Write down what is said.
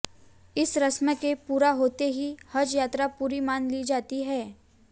इस रस्म के पूरा होते ही हज यात्रा पूरी मान ली जाती है